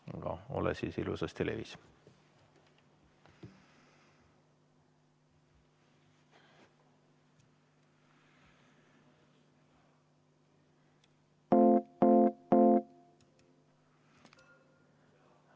Aga ole siis ilusasti levis.